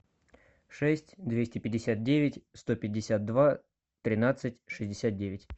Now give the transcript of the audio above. шесть двести пятьдесят девять сто пятьдесят два тринадцать шестьдесят девять